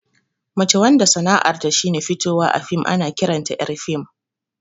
Mace wanda sana'ar ta shine fitowa a fim ana ƙiranta ƴar fim